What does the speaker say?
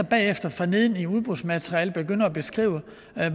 bagefter forneden i udbudsmaterialet begynde at beskrive